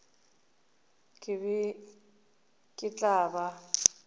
ke be ke tla ba